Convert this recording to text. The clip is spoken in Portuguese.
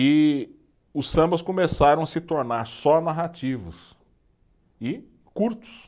E os sambas começaram a se tornar só narrativos e curtos.